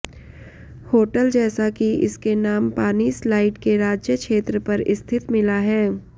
hotel जैसा कि इसके नाम पानी स्लाइड के राज्य क्षेत्र पर स्थित मिला है